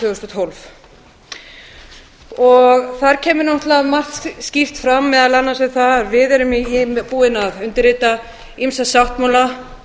þúsund og tólf þar kemur náttúrlega margt skýrt fram meðal annars um það að við erum búin að undirrita ýmsa sáttmála